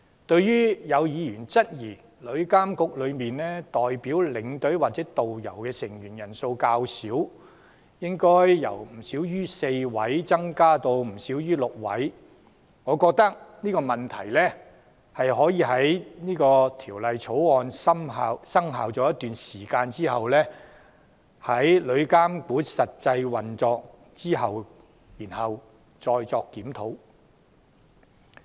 對於有議員質疑旅監局中代表領隊或導遊的成員人數較少，認為應該由不少於4位增加至不少於6位，我認為這問題可以待《條例草案》生效一段時間後，在旅監局實際運作後才再作檢討。